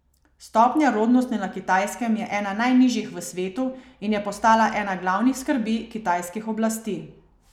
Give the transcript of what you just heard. Stopnja rodnosti na Kitajskem je ena najnižjih v svetu in je postala ena glavnih skrbi kitajskih oblasti.